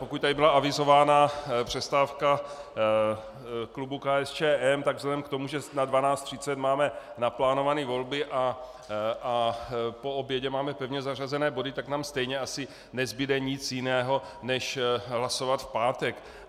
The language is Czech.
Pokud tady byla avizována přestávka klubu KSČM, tak vzhledem k tomu, že na 12.30 máme naplánované volby a po obědě máme pevně zařazené body, tak nám stejně asi nezbude nic jiného než hlasovat v pátek.